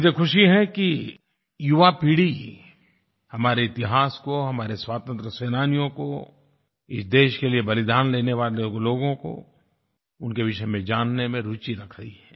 मुझे खुशी है कि युवापीढ़ी हमारे इतिहास को हमारे स्वतंत्रता सेनानियों को इस देश के लिए बलिदान देने वाले लोगों को उनके विषय में जानने में रूचि रख रही है